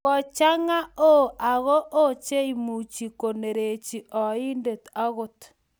Kochanga ooo ak oo cheimuchi konerechi oindet agot